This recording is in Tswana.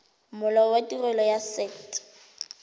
molao wa tirelo ya set